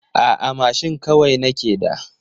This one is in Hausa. A'a mashin kawai nake da.